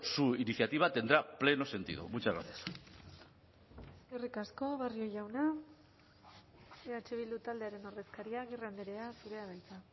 su iniciativa tendrá pleno sentido muchas gracias eskerrik asko barrio jauna eh bildu taldearen ordezkaria agirre andrea zurea da hitza